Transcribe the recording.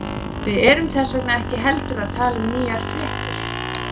Við erum þess vegna ekki heldur að tala um nýjar fréttir.